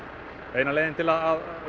eina leiðin til að